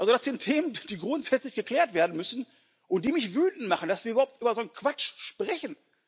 Das sind Themen, die grundsätzlich geklärt werden müssen und die mich wütend machen, dass wir überhaupt über so einen Quatsch sprechen.